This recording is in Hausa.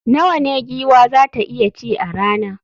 Nawa ne giwa za ta iya ci a rana?